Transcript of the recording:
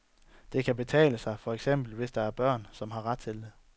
Det kan betale sig, for eksempel hvis der er børn, som har ret til det.